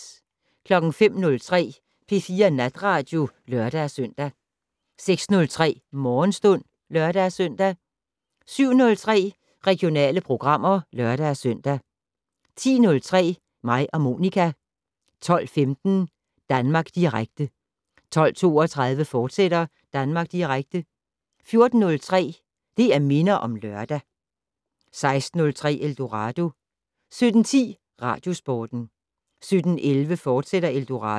05:03: P4 Natradio (lør-søn) 06:03: Morgenstund (lør-søn) 07:03: Regionale programmer (lør-søn) 10:03: Mig og Monica 12:15: Danmark Direkte 12:32: Danmark Direkte, fortsat 14:03: Det' Minder om Lørdag 16:03: Eldorado 17:10: Radiosporten 17:11: Eldorado, fortsat